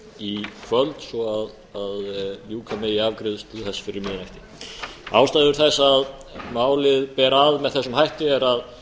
í kvöld svo ljúka megi afgreiðslu þess fyrir miðnætti ástæður þess að málið ber að með þessum hætti er að